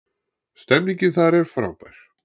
Stemningin þar er frábær